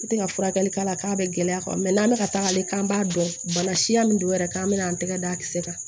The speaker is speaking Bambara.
N tɛ ka furakɛli k'a la k'a bɛ gɛlɛya n'an bɛ ka taa ale k'an b'a dɔn bana siya min don yɛrɛ k'an bɛ na an tɛgɛ da kisɛ kan